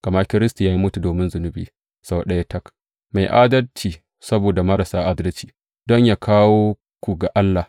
Gama Kiristi ya mutu domin zunubi sau ɗaya tak, mai adalci saboda marasa adalci, don yă kawo ku ga Allah.